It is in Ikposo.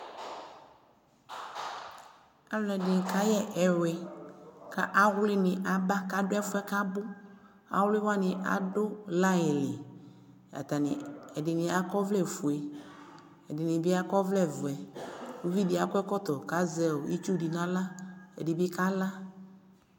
Aluɛde ne kayɛ ɛwi ka awli de ne aba kado ɛfuɛ kabo Awli wane ado line li Atane , ɛde ne akɔ ɔvlɛ fue, ɛde ne be akɔ ɔvlɛvɛUvi de akɔ ɛkɔtɔ ka zɛ itsu de na la, Ɛde be ka la